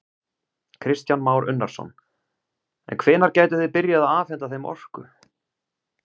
Kristján Már Unnarsson: En hvenær gætuð þið byrjað að afhenta þeim orku?